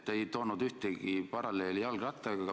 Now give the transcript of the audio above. Te ei toonud ühtegi paralleeli jalgrattaga.